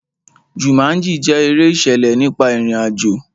Jumanji jẹ́ eré ìṣẹ̀lẹ̀ nípa ìrìn àjò.